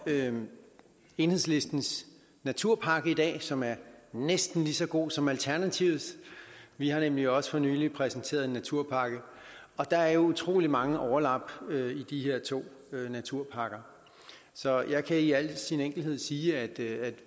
enhedslistens naturpakke i dag som er næsten lige så god som alternativets vi har nemlig også for nylig præsenteret en naturpakke og der er jo utrolig mange overlap mellem de her to naturpakker så jeg kan i al enkelhed sige at vi